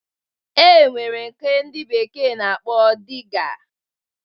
E nwere nke ndị bekee na-akpọ Diga